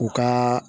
U ka